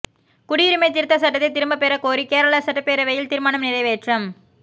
குடியுரிமைத் திருத்தச் சட்டத்தை திரும்பப் பெறக் கோரி கேரள சட்டப்பேரவையில் தீர்மானம் நிறைவேற்றம்